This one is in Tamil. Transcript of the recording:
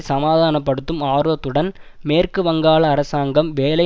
சமாதான படுத்தும் ஆர்வத்துடன் மேற்கு வங்காள அரசாங்கம் வேலை